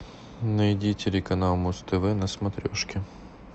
найди телеканал муз тв на смотрешке